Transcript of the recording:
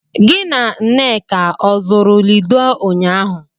Gị na Nneka ọ zụrụ Lido ụnyaahụ?